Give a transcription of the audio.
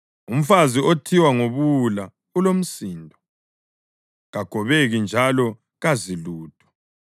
Umfazi othiwa nguBuwula ulomsindo; kagobeki njalo kazi lutho.